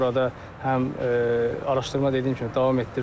Burada həm araşdırma dediyim kimi davam etdirilir.